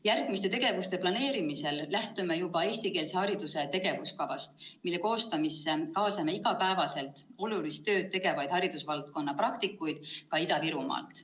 Järgmiste tegevuste planeerimisel lähtume juba eestikeelse hariduse tegevuskavast, mille koostamisse kaasame igapäevaselt olulist tööd tegevaid haridusvaldkonna praktikuid ka Ida-Virumaalt.